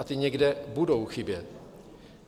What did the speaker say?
A ty někde budou chybět.